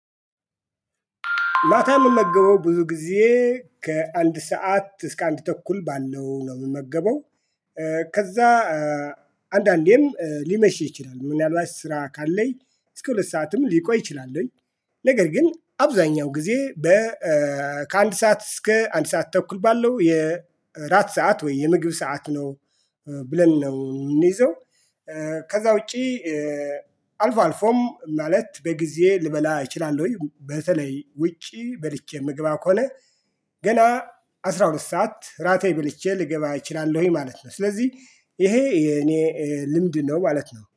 ማታ የምንመገበው ብዙ ጊዜ ከአንድ ሰዓት እስከ አንድ ተኩል ባለው ነው የምመገበው። ከዛ አንዳንዴም ሊመሽ ይችላል። ምን ያላችሁ ስራ ካለኝ እስከ ሁለት ሰዓትም ሊቆይ ይችላሉኝ። ነገር ግን አብዛኛው ጊዜ በ ከአንድ ሰዓት እስከ አንድ ሰዓት ተኩል ባለው የእራት ሰዓት ወይ የምግብ ሰዓት ነው ብለን ነው የምንይዘው። ከዛ ውጪ አልፎ አልፎም ማለት በጊዜ ልበላ እችላለሁኝ በተለይ ውጪ በልቼ ምግባ ከሆነ። ገና አስራ ሁለት ሰዓት ራቴ በልቼ ልገባ እችላለሁ ማለት ነው። ስለዚህ ይሄ የኔ ልምድ ነው ማለት ነው